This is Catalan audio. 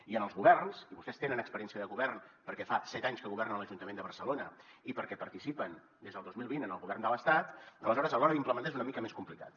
i en els governs i vostès tenen experiència de govern perquè fa set anys que governen a l’ajuntament de barcelona i perquè participen des del dos mil vint en el govern de l’estat aleshores a l’hora d’implementar és una mica més complicat